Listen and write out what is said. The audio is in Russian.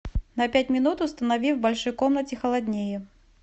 на пять минут установи в большой комнате холоднее